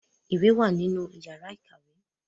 Ìwé wà nínú yàrà ìkàwé.